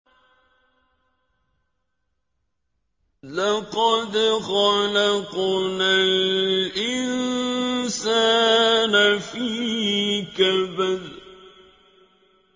لَقَدْ خَلَقْنَا الْإِنسَانَ فِي كَبَدٍ